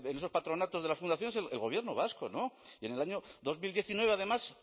esos patronatos de las fundaciones el gobierno vasco y en el año dos mil diecinueve además